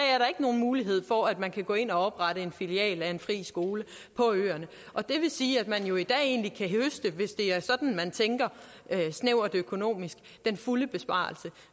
ikke nogen mulighed for at man kan gå ind og oprette en filial af en fri skole på øerne og det vil sige at man jo i dag egentlig kan høste hvis det er sådan man tænker altså snævert økonomisk den fulde besparelse